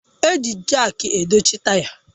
A na-eji Jaak dochie taya